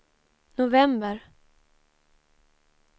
november